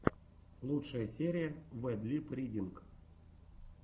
лучшая серия вэд лип ридинг